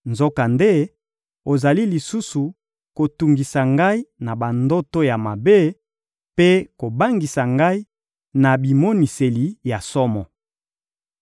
nzokande, ozali lisusu kotungisa ngai na bandoto ya mabe mpe kobangisa ngai na bimoniseli ya somo.